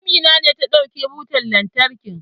Amina ce ta ɗauki butan lantarkin.